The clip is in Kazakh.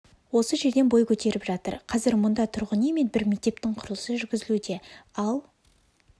осы жерден бой көтеріп жатыр қазір мұнда тұрғын үй мен бір мектептің құрылысы жүргізілуде ал